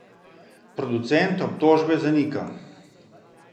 Producent obtožbe zanika.